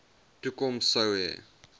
toekoms sou hê